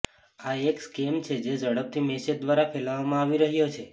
આ એક સ્કેમ છે જે ઝડપથી મેસેજ દ્વારા ફેલાવવામાં આવી રહ્યો છે